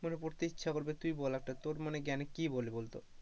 পড়তে ইচ্ছা করবে তুই বল একটা মানে জ্ঞানে কি বলে বলতো,